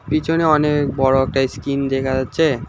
পিছনে অনেক বড় একটা স্ক্রিন দেখা যাচ্ছে।